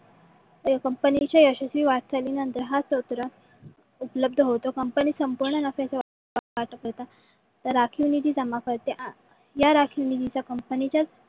कंमपणीच्या यशश्वी वाटचाळीनंतर हा सत्र उपलब्ध होतो. company संपवण्या तर राखीव निधी जमा करते. या राखीव निधी कहा कंपनीच्या